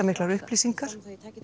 miklar upplýsingar